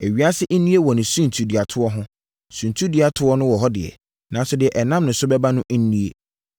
Ewiase nnue wɔ ne suntiduatoɔ ho! Suntiduatoɔ wɔ hɔ deɛ, nanso deɛ ɛnam ne so bɛba no nnue.